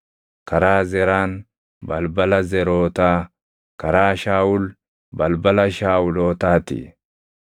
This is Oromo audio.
karaa Zeraan, balbala Zerootaa; karaa Shaawul, balbala Shaawulootaa ti.